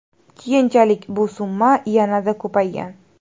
Keyinchalik bu summa yanada ko‘paygan.